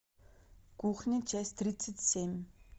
кухня часть тридцать семь